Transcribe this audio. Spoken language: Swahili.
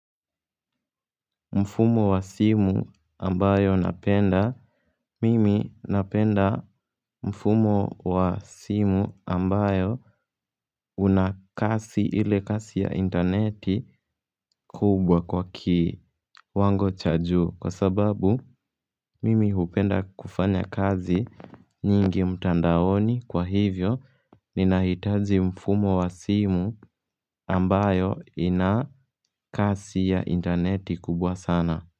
Mfumo wa simu ambayo napenda Mimi napenda mfumo wa simu ambayo unakasi ile kasi ya interneti kubwa kwa ki wango cha juu kwa sababu mimi upenda kufanya kazi nyingi mtandaoni kwa hivyo ni nahitaji mfumo wa simu ambayo inakasi ya interneti kubwa sana.